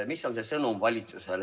Mis on valitsuse sõnum?